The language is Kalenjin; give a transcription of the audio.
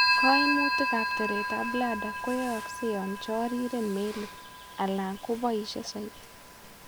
Kaimutik ab teret ab bladder kooyokse yoon choriren meelik ala ko boisie soiti